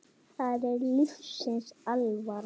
Það er lífsins alvara.